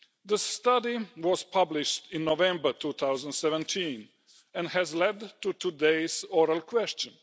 The study was published in November 2017 and led to today's oral question.